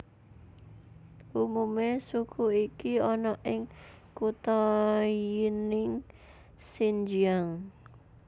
Umume suku iki ana ing kutha Yinning Xinjiang